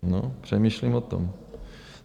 No, přemýšlím o tom.